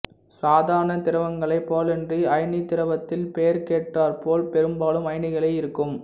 சாதாரண திரவங்களைப் போலன்றி அயனித் திரவத்தில் பெயருக்கேற்றாற்போல் பெரும்பாலும் அயனிகளே இருக்கும்